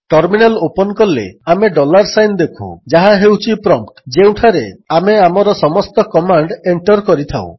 terminal open କଲେ ଆମେ dollar sign ଦେଖୁ ଯାହା ହେଉଛି ପ୍ରମ୍ପଟ୍ ଯେଉଁଠାରେ ଆମେ ଆମର ସମସ୍ତ କମାଣ୍ଡ୍ ଏଣ୍ଟର୍ କରିଥାଉ